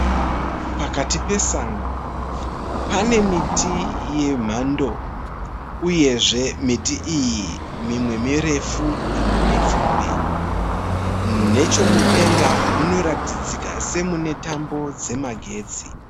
Pakati pesango pane miti yemhando uyezve miti iyi mimwe mirefu mimwe mipfupi. Nechomudenga munoratidzika semune tambo dzemagetsi.